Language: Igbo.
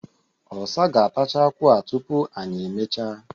ọsa ga-atacha akwu a tụpu anyị emechaa.